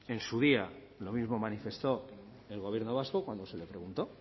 en su día lo mismo manifestó el gobierno vasco cuando se le preguntó